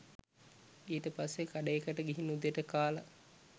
ඊට පස්සෙ කඩේකට ගිහින් උදේට කාල